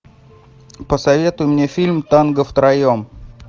посоветуй мне фильм танго втроем